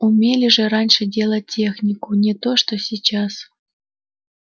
умели же раньше делать технику не то что сейчас